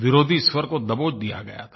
विरोधी स्वर को दबोच दिया गया था